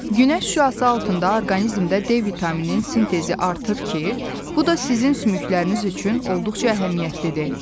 Günəş şüası altında orqanizmdə D vitamininin sintezi artır ki, bu da sizin sümükləriniz üçün olduqca əhəmiyyətlidir.